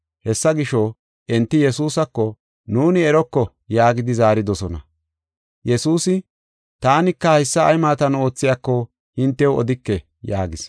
Hessa gisho, enti Yesuusako, “Nuuni eroko” yaagidi zaaridosona. Yesuusi, “Taanika haysa ay maatan oothiyako, hintew odike” yaagis.